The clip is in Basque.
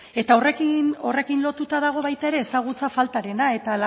eta horrekin lotuta dago baita ere ezagutza faltarena eta